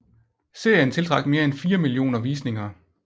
Serien tiltrak mere end fire millioner visninger